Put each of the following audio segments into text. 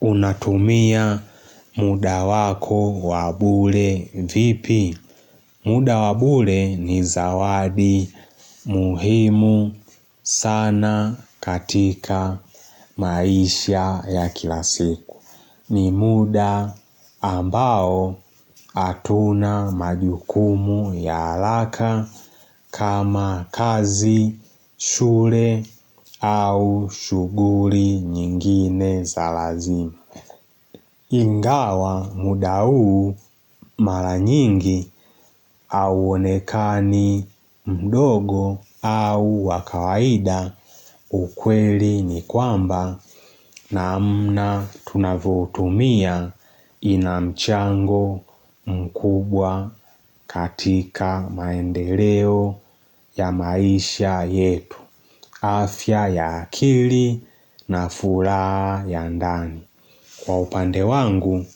Unatumia muda wako wa bure vipi? Muda wa bure ni zawadi muhimu sana katika maisha ya kilavsiku. Ni muda ambao hatuna majukumu ya haraka kama kazi, shule au shughuli nyingine za lazima. Ingawa muda huu mara nyingi hauonekani mdogo au wa kawaida ukweli ni kwamba namna tunavyoutumia ina mchango mkubwa katika maendeleo ya maisha yetu, afya ya akili na furaha ya ndani. Kwa upande wangu,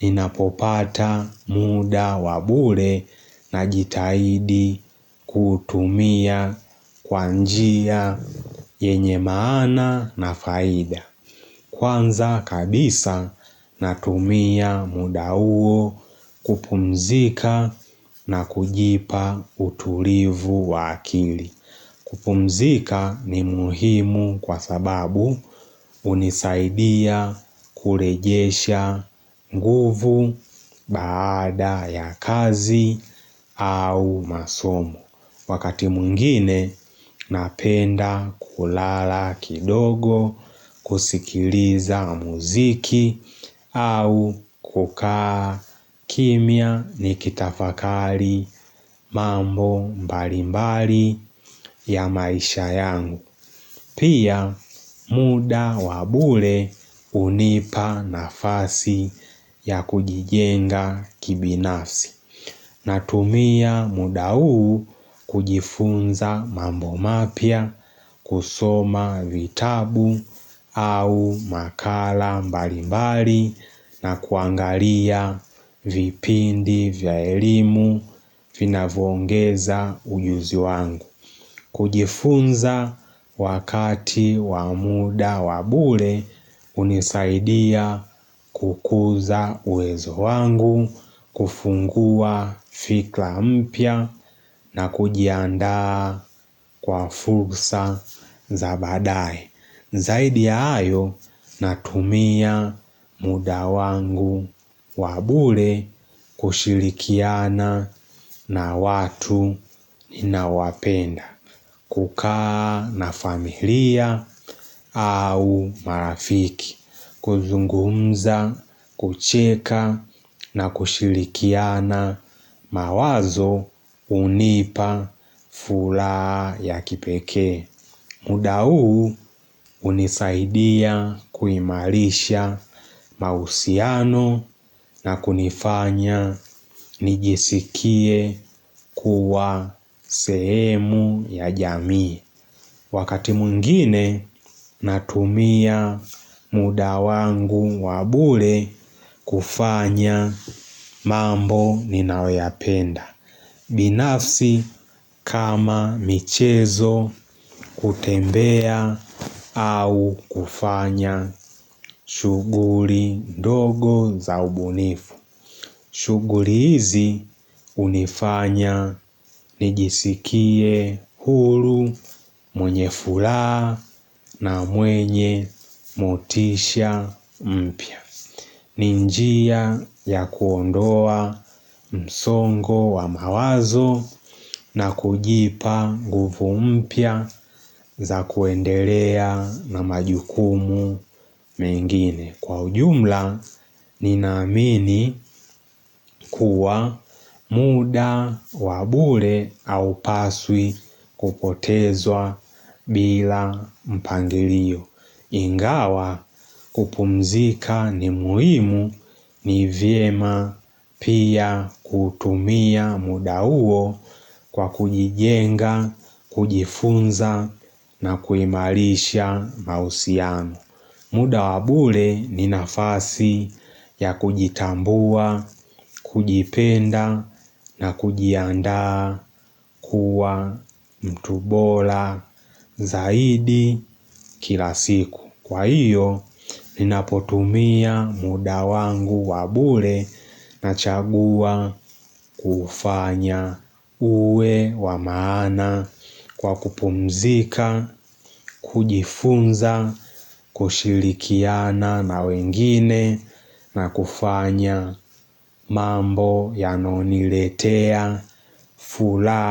ninapopata muda wa bure najitaidi kuutumia kwa njia yenye maana na faida. Kwanza kabisa, natumia muda huo kupumzika na kujipa utulivu wa akili. Kupumzika ni muhimu kwa sababu hunisaidia kurejesha nguvu baada ya kazi au masomo. Wakati mwingine napenda kulala kidogo kusikiliza muziki au kukaa kimya nikitafakari mambo mbali mbali ya maisha yangu. Pia muda wa bure hunipa nafasi ya kujijenga kibinafsi natumia muda huu kujifunza mambo mapya kusoma vitabu au makala mbali mbali na kuangalia vipindi vya elimu vinavyoongeza ujuzi wangu. Kujifunza wakati wa muda wa bure hunisaidia kukuza uwezo wangu, kufungua fikra mpya na kujiandaa kwa fursa za baadaye. Zaidi ya hayo natumia muda wangu wa bure kushirikiana na watu ninaowapenda. Kukaa na familia au marafiki, kuzungumza, kucheka na kushirikiana mawazo hunipa furaha ya kipekee. Muda huu hunisaidia kuimarisha mahusiano na kunifanya nijisikie kuwa sehemu ya jamii. Wakati mwingine natumia muda wangu wa bure kufanya mambo ninaoyapenda. Binafsi kama michezo kutembea au kufanya shughuli ndogo za ubunifu. Shughuli hizi hunifanya nijisikie huru mwenye furaha na mwenye motisha mpya. Ni njia ya kuondoa msongo wa mawazo na kujipa nguvu mpya za kuendelea na majukumu mengine. Kwa ujumla, ninaamini kuwa muda wa bure haupaswi kupotezwa bila mpangilio. Ingawa kupumzika ni muhimu ni vyema pia kutumia muda huo kwa kujijenga, kujifunza na kuimarisha mahusiano. Muda wa bure ni nafasi ya kujitambua, kujipenda na kujiandaa kuwa mtu bora zaidi kila siku. Kwa hiyo, ninapotumia muda wangu wa bure nachagua kufanya uwe wa maana kwa kupumzika, kujifunza, kushirikiana na wengine na kufanya mambo yanayoniletea furaha.